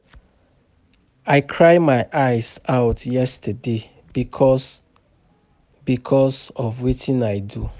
I cry my eyes out yesterday because because of wetin I do